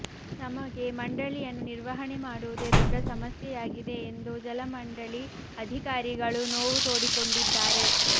ನಮಗೆ ಮಂಡಳಿಯನ್ನು ನಿರ್ವಹಣೆ ಮಾಡುವುದೇ ದೊಡ್ಡ ಸಮಸ್ಯೆಯಾಗಿದೆ ಎಂದು ಜಲಮಂಡಳಿ ಅಧಿಕಾರಿಗಳು ನೋವು ತೋಡಿಕೊಂಡಿದ್ದಾರೆ